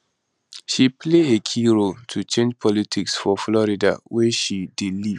she play a key role to change politics for florida wia she dey live